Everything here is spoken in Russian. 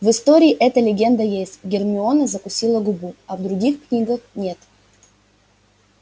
в истории эта легенда есть гермиона закусила губу а в других книгах нет